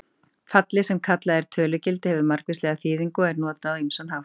Fallið sem kallað er tölugildi hefur margvíslega þýðingu og er notað á ýmsan hátt.